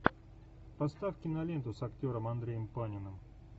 поставь киноленту с актером андреем паниным